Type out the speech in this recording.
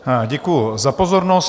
Děkuji za pozornost.